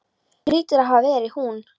Það hlýtur að hafa verið hún.